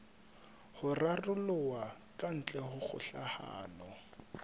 ho raroloha kantle ha kgokahano